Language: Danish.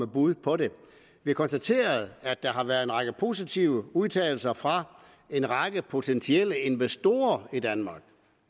bud på det vi konstaterer at der har været en række positive udtalelser fra en række potentielle investorer i danmark